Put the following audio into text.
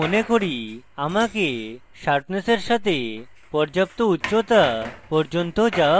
আমি মনে করি আমাকে শার্পনেসের সাথে পর্যাপ্ত উচ্চতা পর্যন্ত যাওয়া উচিত